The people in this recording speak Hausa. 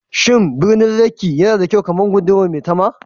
Shin birnin Lekki yana da kyau kamar gundumar Maitama?